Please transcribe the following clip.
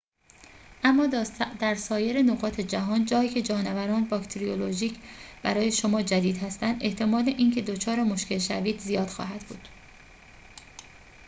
اما در سایر نقاط جهان جایی‌که جانوران باکتریولوژیک برای شما جدید هستند احتمال اینکه دچار مشکل شوید زیاد خواهد بود